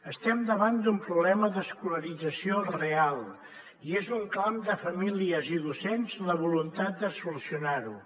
estem davant d’un problema d’escolarització real i és un clam de famílies i docents la voluntat de solucionar ho